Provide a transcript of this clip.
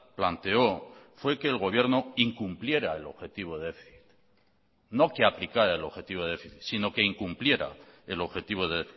planteó fue que el gobierno incumpliera el objetivo de déficit no que aplicara el objetivo de déficit sino que incumpliera el objetivo del